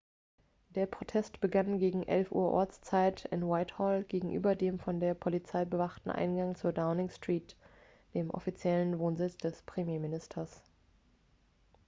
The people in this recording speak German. der protest begann gegen 11:00 uhr ortszeit utc +1 in whitehall gegenüber dem von der polizei bewachten eingang zur downing street dem offiziellen wohnsitz des premierministers